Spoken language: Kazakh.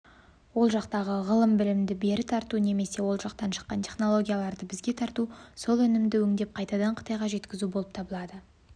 ол жақтағы ғылым-білімді бері тарту немесе ол жақтан шыққан технологияларды бізге тарту сол өнімді өңдеп қайтадан қытайға жеткізу болып табылады